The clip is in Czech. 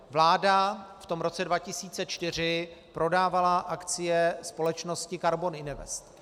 Vláda v tom roce 2004 prodávala akcie společnosti Karbon Invest.